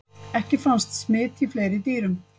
Ekki fannst smit í fleiri dýrum.